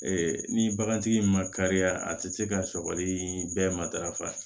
Ee ni bagantigi in ma kariya a tɛ se ka sɔgɔli bɛɛ matarafa